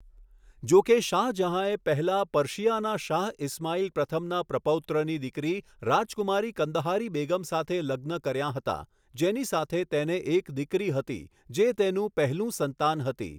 જો કે, શાહજહાંએ પહેલા પર્સિયાના શાહ ઈસ્માઇલ પ્રથમના પ્રપૌત્રની દીકરી, રાજકુમારી કંદહારી બેગમ સાથે લગ્ન કર્યા હતા, જેની સાથે તેને એક દીકરી હતી જે તેનું પહેલું સંતાન હતી.